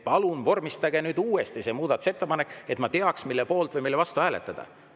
Palun vormistage see muudatusettepanek uuesti, et ma teaks, mille poolt või mille vastu hääletada.